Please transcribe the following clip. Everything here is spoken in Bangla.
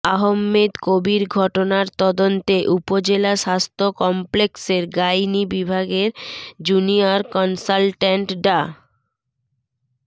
আহমেদ কবীর ঘটনার তদন্তে উপজেলা স্বাস্থ্য কমপ্লেক্সের গাইনি বিভাগের জুনিয়র কনসালট্যান্ট ডা